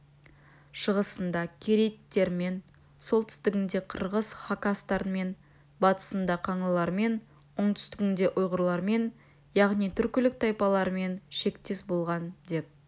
шығысында керейттермен солтүстігінде қырғыз хақастармен батысында қаңлылармен оңтүстігінде ұйғырлармен яғнм түркілік тайпалармен шектес болған деп